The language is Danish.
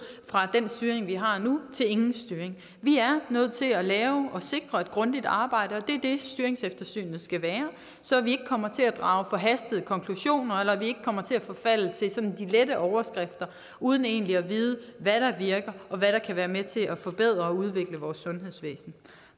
fra den styring vi har nu til ingen styring vi er nødt til at lave og sikre et grundigt arbejde det er det styringseftersynet skal være så vi ikke kommer til at drage forhastede konklusioner eller vi ikke kommer til at forfalde til sådan de lette overskrifter uden egentlig at vide hvad der virker og hvad der kan være med til at forbedre og udvikle vores sundhedsvæsen